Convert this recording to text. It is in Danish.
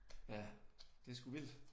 Ja det sgu vildt